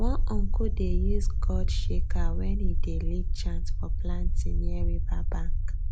one uncle dey use gourd shaker when e dey lead chant for planting near riverbank